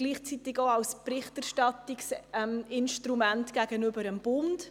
Gleichzeitig ist er auch ein Instrument für die Berichterstattung gegenüber dem Bund.